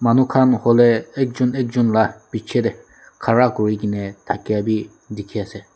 manu khan holey ek jun ek jun lah piche tey khara kuri geney thakia bi dikhi ase.